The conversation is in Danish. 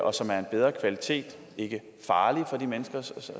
og som er af en bedre kvalitet og ikke er farlige for de mennesker